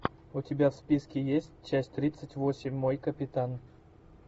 у тебя в списке есть часть тридцать восемь мой капитан